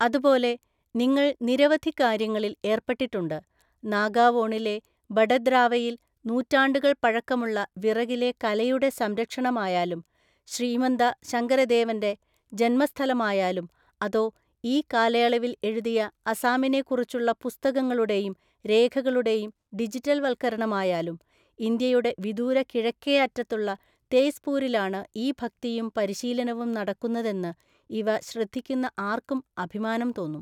അതുപോലെ, നിങ്ങൾ നിരവധി കാര്യങ്ങളിൽ ഏർപ്പെട്ടിട്ടുണ്ട്, നാഗാവോണിലെ ബടദ്രാവയിൽ നൂറ്റാണ്ടുകൾ പഴക്കമുള്ള വിറകിലെ കലയുടെ സംരക്ഷണമായാലും, ശ്രീമന്ത ശങ്കരദേവന്റെ ജന്മസ്ഥലമായാലും അതോ ഈ കാലയളവിൽ എഴുതിയ അസാമിനെ കുറിച്ചുള്ള പുസ്തകങ്ങളുടെയും രേഖകളുടെയും ഡിജിറ്റൽവൽക്കരണമായാലും, ഇന്ത്യയുടെ വിദൂര കിഴക്കേ അറ്റത്തുള്ള തേസ്പൂരിലാണ് ഈ ഭക്തിയും പരിശീലനവും നടക്കുന്നതെന്ന് ഇവ ശ്രദ്ധിക്കുന്ന ആർക്കും അഭിമാനം തോന്നും.